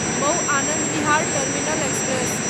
Mau Anand Vihar terminal express